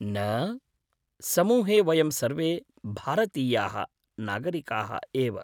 न, समूहे वयं सर्वे भारतीयाः नागरिकाः एव।